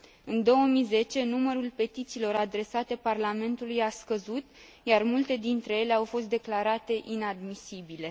În 2010, numărul petițiilor adresate Parlamentului a scăzut, iar multe dintre ele au fost declarate inadmisibile.